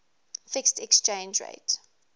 fixed exchange rate